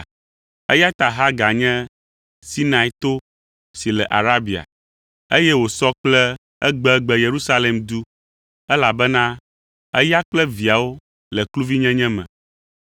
Eya ta Hagar nye Sinai to si le Arabia, eye wòsɔ kple egbegbe Yerusalem du, elabena eya kple viawo le kluvinyenye me.